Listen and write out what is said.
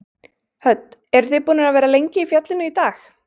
Hödd: Eruð þið búnir að vera lengi í fjallinu í dag?